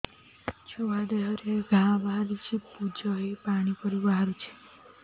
ଛୁଆ ଦେହରେ ଘା ବାହାରିଛି ପୁଜ ହେଇ ପାଣି ପରି ବାହାରୁଚି